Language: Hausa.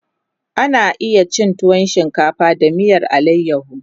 ana iya cin tuwo shinkafa da miyar alayaho